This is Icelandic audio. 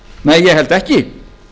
nei ég held ekki